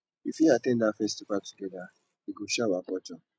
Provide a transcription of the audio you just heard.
we fit at ten d that festival together e go show our culture